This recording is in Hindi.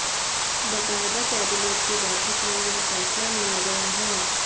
बाकायदा कैबिनेट की बैठक में यह फैसला लिया गया है